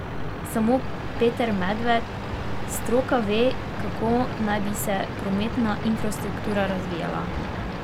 Samo Peter Medved: "Stroka ve, kako naj bi se prometna infrastruktura razvijala.